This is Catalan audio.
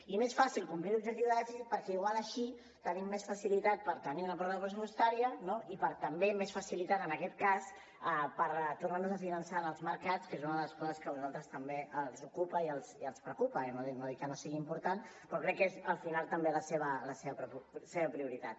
i més fàcil complir l’objectiu de dèficit perquè potser així tenim més facilitat per tenir una pròrroga pressupostària no i per tenir també més facilitat en aquest cas per tornar nos a finançar en els mercats que és una cosa que a vosaltres també els ocupa i els preocupa no dic que no sigui important però crec que és al final també la seva prioritat